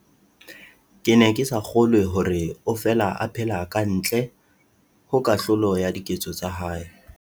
Ke ne ke sa kgolwe hore o fela a phela ka ntle ho kahlolo ya diketso tsa hae.